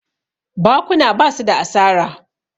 bakuna ba su da asara